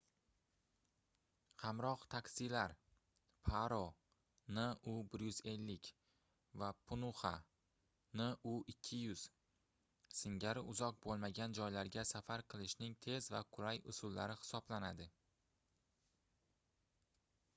hamroh taksilar paro nu 150 va punaxa nu 200 singari uzoq bo'lmagan joylarga safar qilishning tez va qulay usullari hisoblanadi